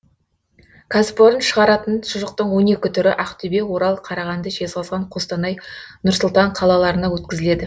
кәсіпорын шығаратын шұжықтың он екі түрі ақтөбе орал қарағанды жезқазған қостанай нұр сұлтан қалаларына өткізіледі